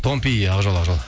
томпи ақ жол ақ жол